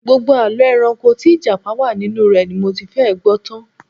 Gbogbo àlọ́ ẹranko tí Ìjápa wà nínú ẹ̀ ni mo ti fẹ́ẹ̀ gbọ́ tan